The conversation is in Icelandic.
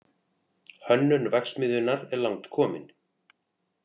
Hönnun verksmiðjunnar er langt komin